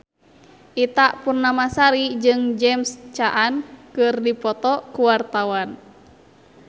Ita Purnamasari jeung James Caan keur dipoto ku wartawan